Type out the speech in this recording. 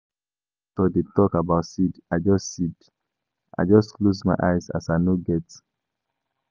Wen pastor dey tok about seed, I just seed, I just close my ears as I no get.